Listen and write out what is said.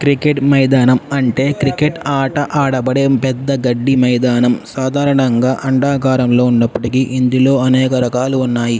Cricket మైదానం అంటే cricket అట అడబడే పెద్ద ఒక గడ్డి మైదానం సాధారణంగా అండాకారం లో ఉన్నప్పటికీ ఇందులో అనేక రకాలు ఉన్నాయి.